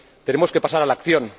Tenemos que pasar a la acción.